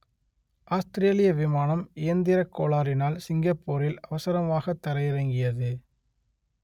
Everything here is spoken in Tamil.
ஆஸ்த்திரேலிய விமானம் இயந்திரக் கோளாறினால் சிங்கப்பூரில் அவசரமாகத் தரையிறங்கியது